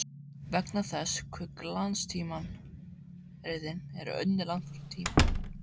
Vegna þess hve glanstímaritin eru unnin langt fram í tímann.